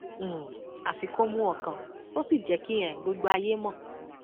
um àfi kó mú ọkàn kó sì jẹ kí um gbogbo ayé mọ